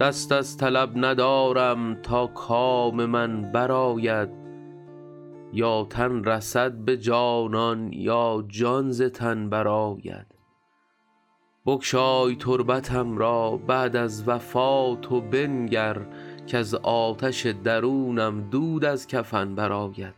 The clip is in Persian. دست از طلب ندارم تا کام من برآید یا تن رسد به جانان یا جان ز تن برآید بگشای تربتم را بعد از وفات و بنگر کز آتش درونم دود از کفن برآید